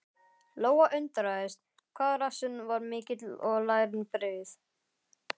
Lóa undraðist hvað rassinn var mikill og lærin breið.